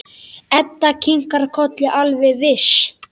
Edda kinkar kolli, alveg viss.